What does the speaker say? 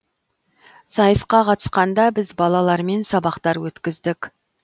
сайысқа қатысқанда біз балалармен сабақтар өткіздік